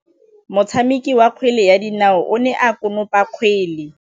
Motshameki wa kgwele ya dinaô o ne a konopa kgwele.